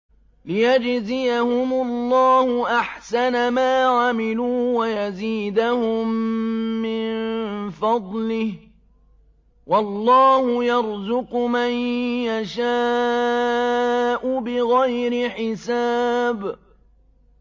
لِيَجْزِيَهُمُ اللَّهُ أَحْسَنَ مَا عَمِلُوا وَيَزِيدَهُم مِّن فَضْلِهِ ۗ وَاللَّهُ يَرْزُقُ مَن يَشَاءُ بِغَيْرِ حِسَابٍ